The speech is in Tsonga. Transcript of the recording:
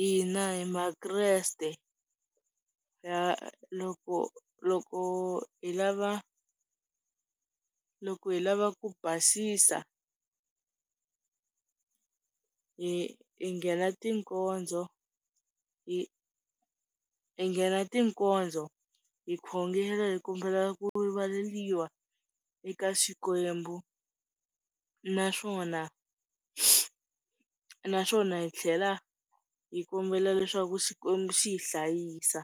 hina hi makreste loko loko hi lava, loko hi lava ku basisa hi nghena tikonzo hinghena tikonzo, hi nghena tikonzo hi khongelo hi kombela ku rivaleriwa eka Xikwembu, naswona, naswona hi tlhela hi kombela leswaku Xikwembu xi hi hlayisa.